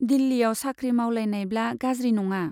दिल्लीयाव साख्रि मावलायनायब्ला गाज्रि नङा।